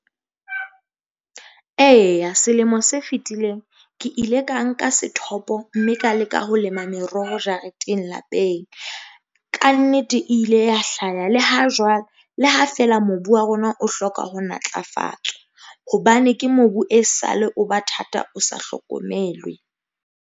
Eya selemo se fitileng ke ile ka nka sethopo mme ka leka ho lema meroho jareteng lapeng. Ka nnete e ile ya hlaya le ha jwale, le ha feela mobu wa rona o hloka ho natlafatswa hobane ke mobu e sa le, o ba thata, o sa hlokomelwe.